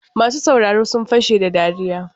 Masu sauraro sun fashe da dariya.